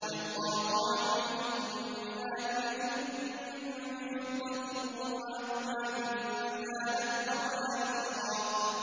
وَيُطَافُ عَلَيْهِم بِآنِيَةٍ مِّن فِضَّةٍ وَأَكْوَابٍ كَانَتْ قَوَارِيرَا